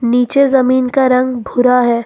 नीचे जमीन का रंग भूरा है।